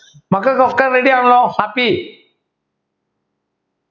മക്കൾക്കൊക്കെ Ready യാണല്ലോ Happy